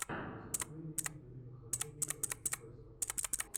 выступление любимых адвенчуров и квестов